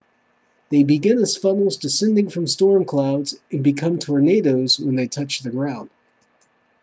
they begin as funnels descending from storm clouds and become tornadoes when they touch the ground